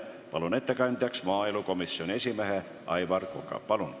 Palun ettekandjaks maaelukomisjoni esimehe Aivar Koka!